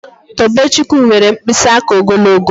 Tobechukwu nwere mkpịsị aka ogologo